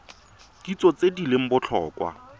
kitso tse di leng botlhokwa